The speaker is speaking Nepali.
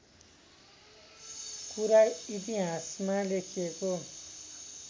कुरा इतिहासमा लेखिएको